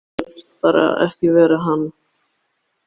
Þú vilt bara ekki vera hann!